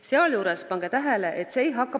Sealjuures – pange tähele!